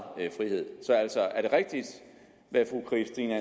frihed så altså er det rigtigt hvad fru christine